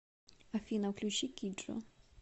афина включи киджо